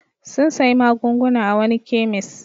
Sun sayi magunguna a wani kemis.